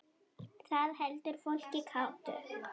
Það heldur fólki kátu.